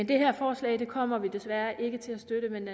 det her forslag kommer vi desværre ikke til at støtte men